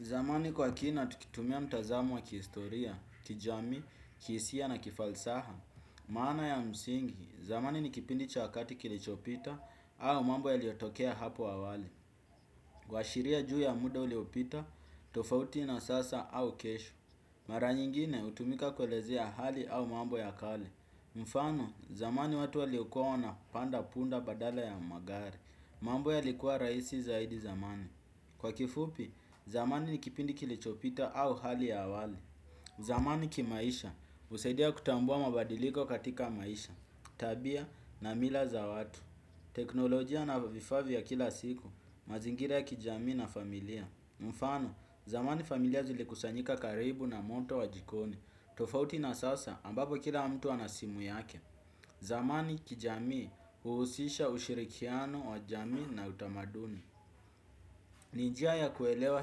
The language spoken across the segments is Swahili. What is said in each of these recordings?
Zamani kwa kina tukitumia mtazamo wa kihistoria, kijamii, kihisia na kifalsaha maana ya msingi, zamani ni kipindi cha wakati kilichopita au mambo yaliyotokea hapo awali. Kuashiria juu ya muda uliopita, tofauti na sasa au kesho. Mara nyingine hutumika kuelezea hali au mambo ya kale. Mfano, zamani watu waliokuwa wanapanda punda badala ya magari. Mambo yalikuwa rahisi zaidi zamani. Kwa kifupi, zamani ni kipindi kilichopita au hali ya awali. Zamani kimaisha, husaidia kutambua mabadiliko katika maisha, tabia na mila za watu. Teknolojia na vifaa vya kila siku, mazingira ya kijamii na familia. Mfano, zamani familia zilikusanyika karibu na moto wa jikoni, tofauti na sasa ambapo kila mtu ana simu yake. Zamani kijamii, uhusisha ushirikiano wa jamii na utamaduni. Ni njia ya kuelewa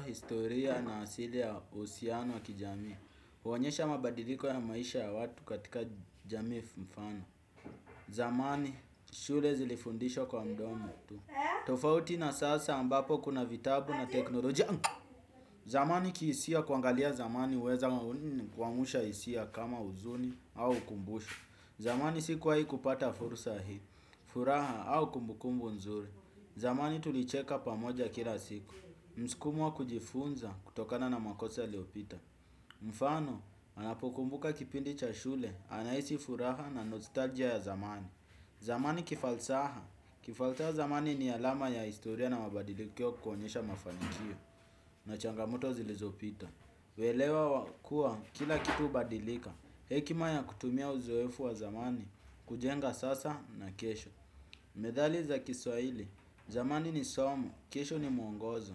historia na asili ya uhusiano wa kijamii. Huonyesha mabadiliko ya maisha ya watu katika jamii mfano. Zamani, shule zilifundisha kwa mdomo tu. Tofauti na sasa ambapo kuna vitabu na teknolojia. Zamani kihisia kuangalia zamani huweza kuamsha hisia kama huzuni au ukumbusho. Zamani si kuwahi kupata fursa hii, furaha au kumbukumbu nzuri. Zamani tulicheka pamoja kila siku. Msukumo wa kujifunza kutokana na makosa yaliyopita. Mfano, anapokumbuka kipindi cha shule, anahisi furaha na nostalgia ya zamani. Zamani kifalsaha. Kifalsaha zamani ni alama ya historia na mabadilikio kuonyesha mafanikio. Na changamoto zilizopita. Uelewa wa kuwa kila kitu hubadilika. Hekima ya kutumia uzoefu wa zamani, kujenga sasa na kesho. Methali za kiswahili. Zamani ni somo, kesho ni mwongozo.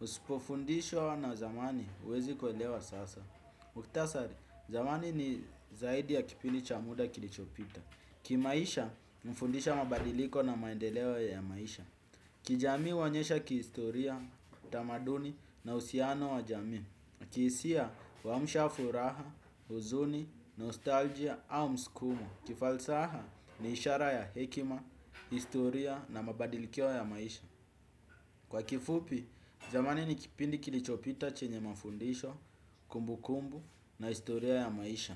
Usipofundishwa na zamani huwezi kuelewa sasa. Mukhtasari, zamani ni zaidi ya kipindi cha muda kilichopita. Kimaisha, hunifundisha mabadiliko na maendeleo ya maisha. Kijamii huonyesha kihistoria, utamaduni na uhusiano wa jamii. Kihisia, huamsha furaha, huzuni, nostalgia au msukumo. Kifalsaha, ni ishara ya hekima, historia na mabadilikio ya maisha. Kwa kifupi, zamani ni kipindi kilichopita chenye mafundisho, kumbukumbu na historia ya maisha.